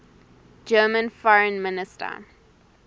german foreign minister